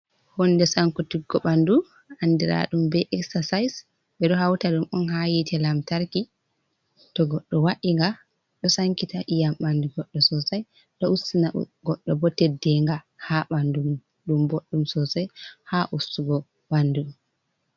Huunde sankitiggo bandu andira ɗum be exercise ɓe ɗo hauta ɗum on ha yite lamtarki, to goddo wainga ɗo sankita iyam ɓandu goɗɗo sosai, ɗo ustina goɗɗo bo teddenga ha bandu ɗum boɗdum sosai ha ustugo bandu.